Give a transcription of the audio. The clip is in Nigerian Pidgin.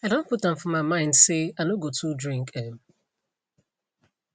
i don put am for my mind say i no go too drink um